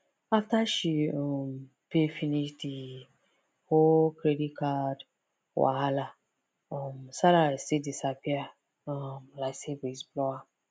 after she um pay finish the whole credit card wahala um salary still disappear um like say breeze blow am